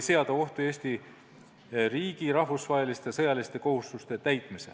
seada ohtu Eesti riigi rahvusvaheliste sõjaliste kohustuste täitmise.